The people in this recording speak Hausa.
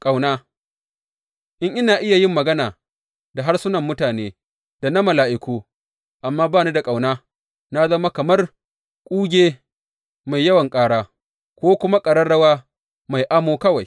Ƙauna In ina iya yin magana da harsunan mutane, da na mala’iku, amma ba ni da ƙauna, na zama kamar kuge mai yawan ƙara, ko kuma ƙararrawa mai amo kawai.